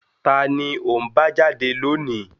Ta ni ò ń bá jáde lónìí?